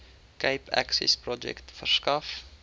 cape accessprojek verskaf